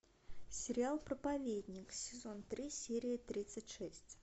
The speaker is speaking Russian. сериал проповедник сезон три серия тридцать шесть